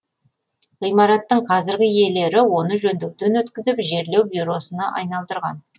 ғимараттың қазіргі иелері оны жөндеуден өткізіп жерлеу бюросына айналдырған